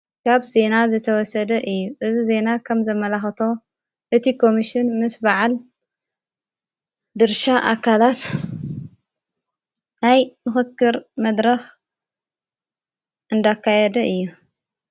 ካብ ዜና ዘተወሰደ እዩ እዝ ዜይና ኸም ዘመላኸቶ እቲ ቆምስን ምስ በዓል ድርሻ ኣካላት ናይ ምኽክር መድራኽ እንዳካያደ እዩ።